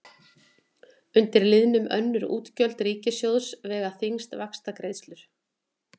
Undir liðnum önnur útgjöld ríkissjóðs vega þyngst vaxtagreiðslur.